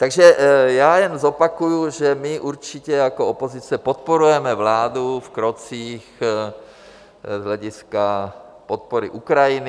Takže já jen zopakuji, že my určitě jako opozice podporujeme vládu v krocích z hlediska podpory Ukrajiny.